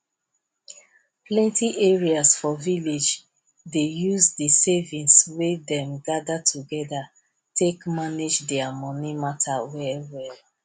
plenti areas for village dey use the savings wey them gather together take manage their money matter well well